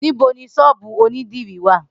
Nibo ni sọ́ọ́bú onidiri wa?